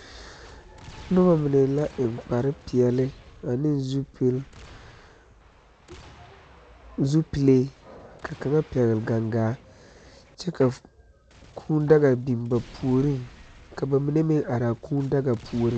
Nuba mene la eng kpari peɛle ane zupili zupile ka kanga pɛgle gangaa kye ka kũũ daga bing ba poɔring ka ba mene meng arẽ kuu daga poɔring.